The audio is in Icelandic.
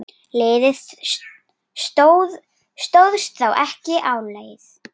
Liðið stóðst þá ekki álagið.